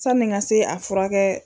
Sanni n ka se a furakɛ.